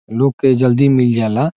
लोग के जल्दी मील जाला --